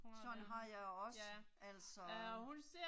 Sådan har jeg også, altså